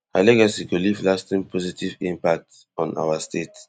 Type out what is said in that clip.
her legacy go leave lasting positive impact on our state